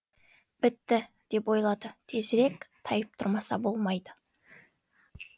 бітті деп ойлады тезірек тайып тұрмаса болмайды